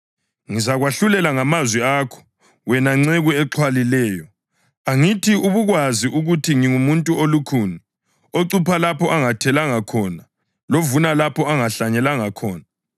Inkosi yayo yaphendula yathi, ‘Ngizakwahlulela ngamazwi akho wena nceku exhwalileyo! Angithi ubukwazi ukuthi ngingumuntu olukhuni, ocupha lapho angathelanga khona lovuna lapho angahlanyelanga khona?